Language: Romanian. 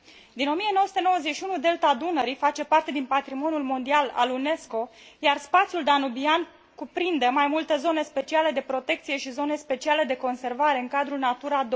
Din 1991, Delta Dunării face parte din patrimoniul mondial al UNESCO, iar spațiul danubian cuprinde mai multe zone speciale de protecție și zone speciale de conservare în cadrul NATURA